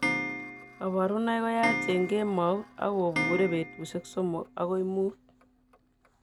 Kaborunoik koyaach eng' kemaut akobuure betusiek somok akoi muut